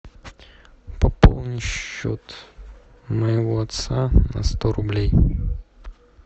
пополни счет моего отца на сто рублей